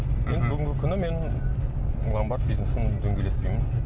мхм бүгінгі күні мен ломбард бизнесін дөңгелетпеймін